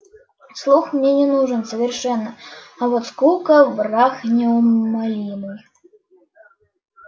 слух мне не нужен совершенно а вот скука враг неумолимый